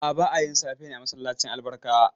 A'a, ba a yin safe ne a masallacin Albarkawa.